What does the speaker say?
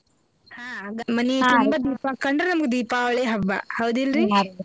ಹಾ ಮನೀ ತುಂಬ ದೀಪಾ ಕಂಡ್ರ ನಮಗ್ ದೀಪಾವಳಿ ಹಬ್ಬಾ ಹೌದಿಲ್ಲರ್ರಿ.